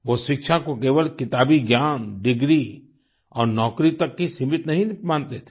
वो शिक्षा को केवल किताबी ज्ञान डिग्री और नौकरी तक ही सीमित नहीं मानते थे